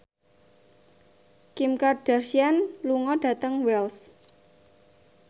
Kim Kardashian lunga dhateng Wells